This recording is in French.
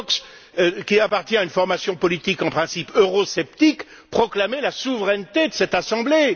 Fox qui appartient à une formation politique en principe eurosceptique proclamer la souveraineté de cette Assemblée.